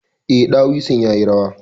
Eh, ɗawisun yayi rawa.